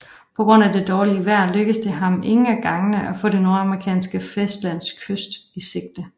På grund af det dårlige vejr lykkedes det ham ingen af gangene at få det nordamerikanske fastlands kyst i sigte